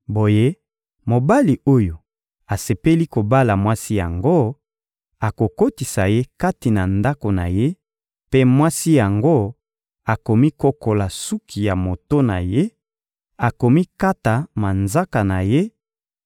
Boye mobali oyo asepeli kobala mwasi yango akokotisa ye kati na ndako na ye, mpe mwasi yango akomikokola suki ya moto na ye, akomikata manzaka na ye;